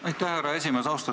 Aitäh, härra esimees!